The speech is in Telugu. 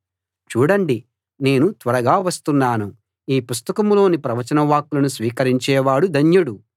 చూడండి నేను త్వరగా వస్తున్నాను ఈ పుస్తకంలోని ప్రవచనవాక్కులను స్వీకరించేవాడు ధన్యుడు